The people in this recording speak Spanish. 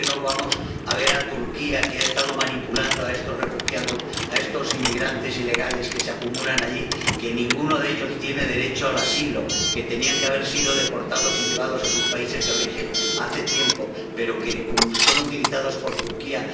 ¿Por qué no vamos a ver a Turquía, que ha estado manipulando a estos refugiados, a estos inmigrantes ilegales que se acumulan allí, que no tienen, ninguno de ellos, derecho al asilo, que tenían que haber sido deportados y llevados a sus países de origen hace tiempo, pero que son utilizados por Turquía?